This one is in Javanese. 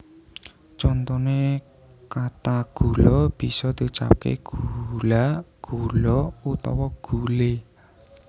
Contone kata gula bisa diucapke gula gulo utawa gule